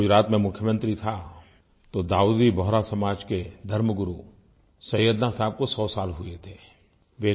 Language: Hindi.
जब मैं गुजरात में मुख्यमंत्री था तो दाऊदी बोहरा समाज के धर्मगुरु सैयदना साहब को सौ साल हुए थे